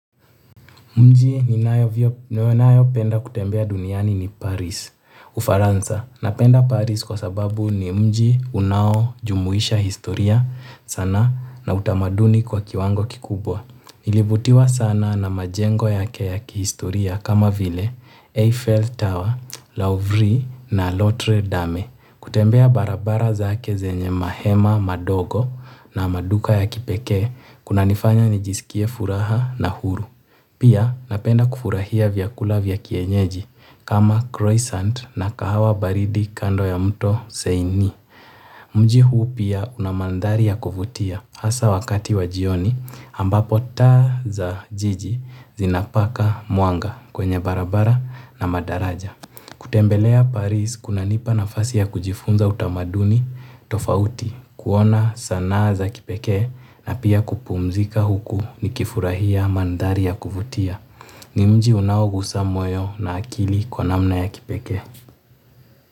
Mji ninayo penda kutembea duniani ni Paris, ufaransa. Napenda Paris kwa sababu ni mji unao jumuisha historia sana na utamaduni kwa kiwango kikubwa. Nilivutiwa sana na majengo yake ya kihistoria kama vile Eiffel Tower, Lauvry na Lotredame. Kutembea barabara zake zenye mahema madogo na maduka ya kipekee kunanifanya nijiskie furaha na huru. Pia napenda kufurahia vyakula vya kienyeji kama Croissant na kahawa baridi kando ya mto Seini. Mji huu pia unamandhari ya kuvutia hasa wakati wa jioni ambapo taa za jiji zinapaka muanga kwenye barabara na madaraja. Kutembelea Paris, kunanipa nafasi ya kujifunza utamaduni, tofauti, kuona sanaa za kipekee na pia kupumzika huku ni kifurahia mandhari ya kuvutia. Nibmji unao gusa moyo na akili kwa namna ya kipekee.